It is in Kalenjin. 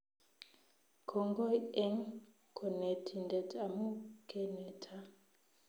Kongoi eng konetindet amu keneta